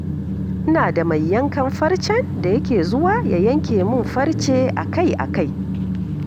Ina da mai yankan farcen da yake zuwa ya yanke min farce a-kai-a-kai